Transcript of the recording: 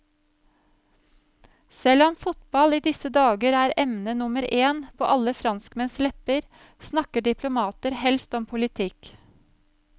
Selv om fotball i disse dager er emne nummer én på alle franskmenns lepper, snakker diplomater helst om politikk.